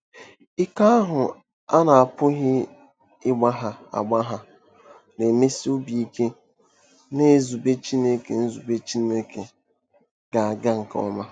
Ike ahụ a na-apụghị ịgbagha agbagha na-emesi obi ike na nzube Chineke nzube Chineke “ga-aga nke ọma.”